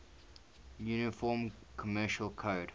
uniform commercial code